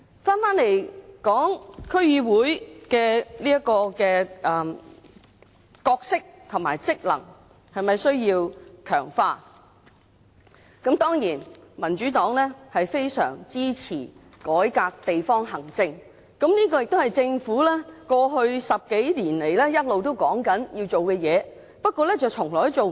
說回區議會的角色和職能是否需要強化。當然，民主黨非常支持改革地方行政，這亦是政府過去10多年來一直說要做的事，不過從來做不到。